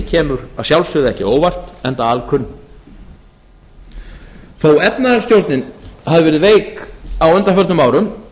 kemur að sjálfsögðu ekki á óvart enda alkunn þótt efnahagsstjórnin hafi verið veik á undanförnum árum